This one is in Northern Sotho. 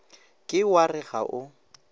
ke wa re ga o